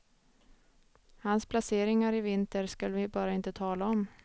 Hans placeringar i vinter skall vi bara inte tala om.